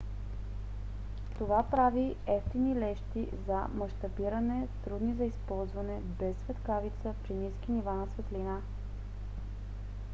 това прави евтини лещи за мащабиране трудни за използване без светкавица при ниски нива на светлина